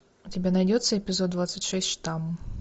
у тебя найдется эпизод двадцать шесть штамм